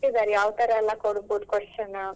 ಅದ್ರಲ್ಲೆಲ್ಲ ಕೊಟ್ಟಿದ್ದಾರೆ ಯಾವತರ ಎಲ್ಲಾ ಕೋಡ್ಬೋದು question.